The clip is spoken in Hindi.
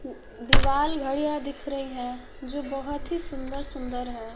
दीवाल घड़ियां दिख रही हैं जो बहोत ही सुंदर-सुंदर है।